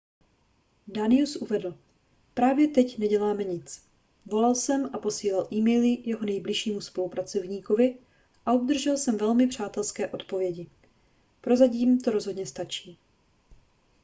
danius uvedl právě teď neděláme nic volal jsem a posílal e-maily jeho nejbližšímu spolupracovníkovi a obdržel jsem velmi přátelské odpovědi prozatím to rozhodně stačí